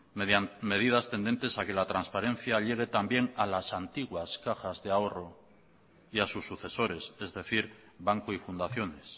medidas tendentes a que la transparencia hiere también a las antiguas cajas de ahorro y a sus sucesores es decir bancos y fundaciones